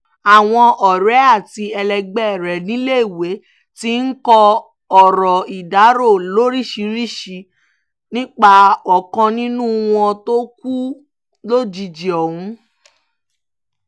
àwọn ọ̀rẹ́ àti ẹlẹgbẹ́ rẹ níléèwé ti ń kọ ọ̀rọ̀ ìdárò lóríṣìíríṣìí nípa ọ̀kan nínú wọn tó kú lójijì ọ̀hún